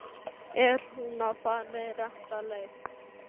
Ónefndur drengur: Er hún að fara rétta leið?